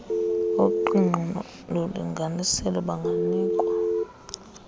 oqingqo lolinganiselo banganikwa